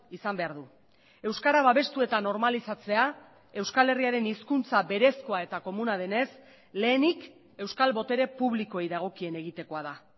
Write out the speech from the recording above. izan behar du euskara babestu eta normalizatzea euskal herriaren hizkuntza berezkoa eta komuna denez lehenik euskal botere publikoei dagokien egitekoa da